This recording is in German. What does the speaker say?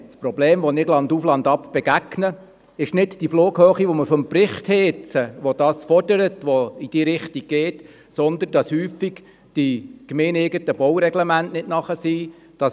Das Problem, dem ich landauf, landab begegne, ist nicht die Flughöhe, die im Bericht abgezeichnet wird, sondern, dass oft die gemeindeeigenen Baureglemente noch nicht soweit sind.